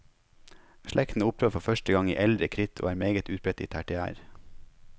Slekten opptrer for første gang i eldre kritt og er meget utbredt i tertiær.